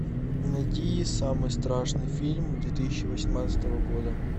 найди самый страшный фильм две тысячи восемнадцатого года